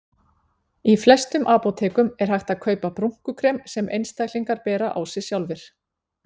Í flestum apótekum er hægt að kaupa brúnkukrem sem einstaklingar bera á sig sjálfir.